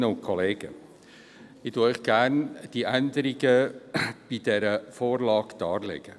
Gerne stelle ich Ihnen die Änderungen in dieser Vorlage dar.